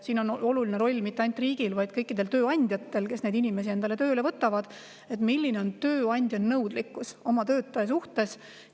Siin on oluline roll mitte ainult riigil, vaid kõikidel tööandjatel, kes neid inimesi endale tööle võtavad, sellel, milline on tööandja nõudlikkus oma töötaja suhtes.